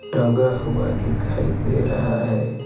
टंगा हुआ दिखाई दे रहा है।